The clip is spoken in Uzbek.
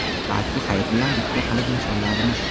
Balki Hayit bilan bitta qilib nishonlarmiz.